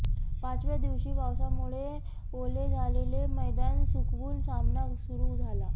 पाचव्या दिवशी पावसामुळे ओले झालेले मैदान सुकवून सामना सुरू झाला